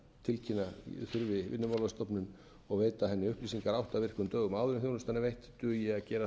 tilkynna þurfi vinnumálastofnun og veita henni upplýsingar átta virkum dögum áður en þjónustan er veitt dugi að gera það